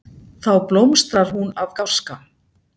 Þá blómstrar hún af gáska.